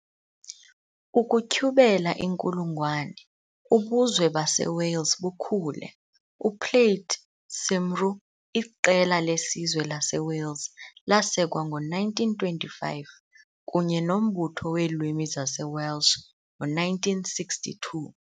Ukutyhubela inkulungwane, ubuzwe baseWales bukhule - UPlaid Cymru, iqela lesizwe laseWales, lasekwa ngo-1925 kunye noMbutho weeLwimi zaseWelsh ngo-1962.